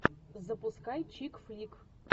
запускай чик флик